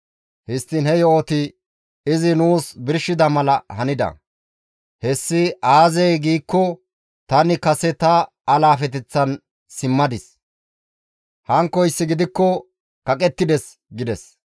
Histtiin he yo7oti izi nuus birshida mala hanida. Hessi aazee giikko tani kase ta alaafeteththan simmadis; hankkoyssi gidikko kaqettides» gides.